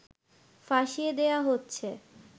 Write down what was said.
ফাঁসিয়ে দেয়া হচ্ছে